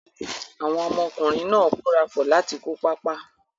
Àwọn ọmọkùnrin náà kórapọ̀ láti kó pápá.